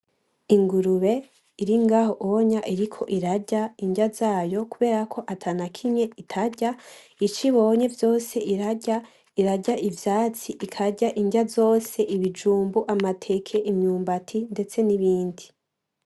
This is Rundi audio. Ingurube iri ngaho onya iriko irarya indya zayo kubera ko atanakimye itarya icoibona vyose irarya, irarya ivyatsi ikarya ingya zose ibijumbu, amateke, imyumbati ndetse n'ibindi.